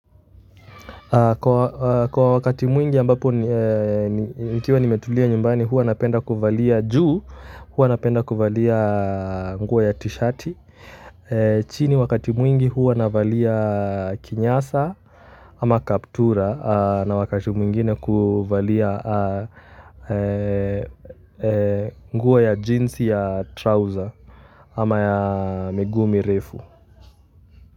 Kwa wakati mwingi ambapo nikiwa nimetulia nyumbani, huwa napenda kuvalia juu, huwa napenda kuvalia nguo ya t-shirt. Chini wakati mwingi huwa navalia kinyasa ama kaptura na wakati mwingine kuvalia nguo ya jeans ya trouser ama ya miguu mirefu.